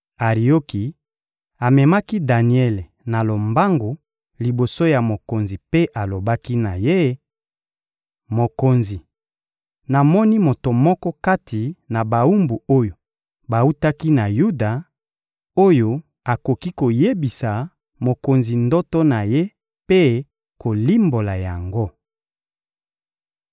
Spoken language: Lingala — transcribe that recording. Arioki amemaki Daniele na lombangu liboso ya mokonzi mpe alobaki na ye: — Mokonzi, namoni moto moko kati na bawumbu oyo bawutaki na Yuda, oyo akoki koyebisa mokonzi ndoto na ye mpe kolimbola yango.